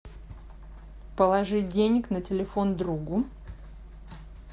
положить денег на телефон другу